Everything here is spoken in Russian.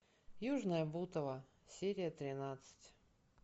южное бутово серия тринадцать